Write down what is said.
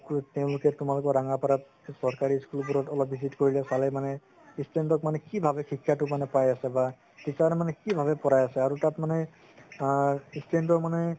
তেওঁলোকে তুমালোকৰ ৰাঙাপাৰাত চকাৰি school বোৰত অলপ visit কৰিলে মানে student ক মানে কি ভাবে শিক্ষাটো পাই আছে বা শিক্ষা মানে কি ভাবে পঢ়াই আছে আৰু তাত মানে আ student ৰ মানে